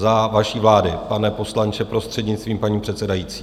Za vaší vlády, pane poslanče, prostřednictvím paní předsedající.